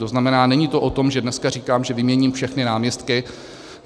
To znamená, není to o tom, že dneska říkám, že vyměním všechny náměstky.